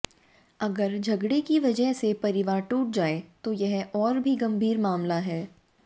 अगर झगड़े की वजह से परिवार टूट जाए तो यह और भी गंभीर मामला है